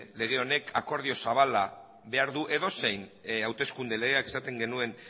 lege honek akordio zabala behar du edozein hauteskunde legeak esaten genuen